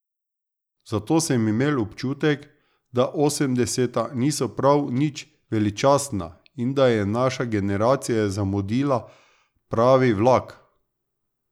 Zato sem imel občutek, da osemdeseta niso prav nič veličastna in da je naša generacija zamudila pravi vlak.